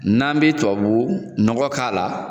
N'an b'i tubabu nɔgɔ k'a la